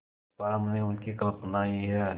पर हमने उनकी कल्पना ही है